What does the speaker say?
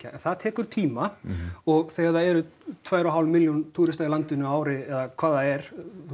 en það tekur tíma og þegar það eru tvær og hálf milljón túrista í landinu á ári eða hvað það er